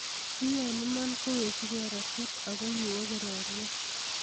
Kiei imen kowechikei Rashid ako kiwo kororie.